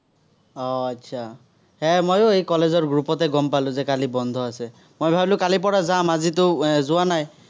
আহ এৰ মইয়ো এই college ৰ group তে গম পালো যে কালি বন্ধ আছে। মই ভাৱিলো কালিৰ পৰা যাম, আজিতো এৰ যোৱা নাই।